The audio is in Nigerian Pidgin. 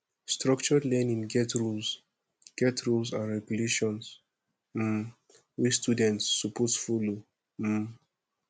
structured learning get rules get rules and regulations um wey students suppose follow um